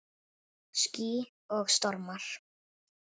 Ský og stormar